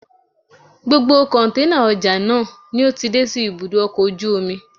Gbogbo kọ̀ǹténà ọjà náà ni ó ti dé sí ibùdó ọkọ̀ ojú omi